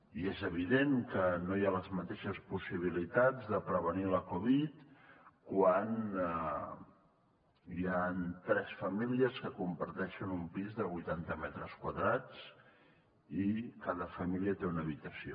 i és evident que no hi ha les mateixes possibilitats de prevenir la covid dinou quan hi han tres famílies que comparteixen un pis de vuitanta metres quadrats i cada família té una habitació